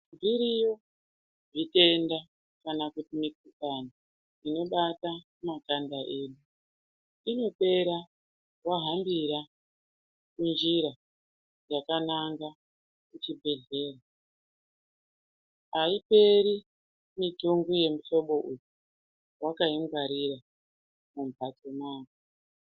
Zviriyo zvitenda kana kuti mikhuhlani inobata makanda edu inopera wahambira munjira yakanaga kuchibhedhlera aiperi mutongo yemuhlobo uyu wakaingwarira mumhatso mwako.